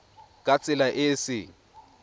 ka tsela e e seng